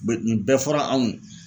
Be nin bɛɛ fɔra anw ye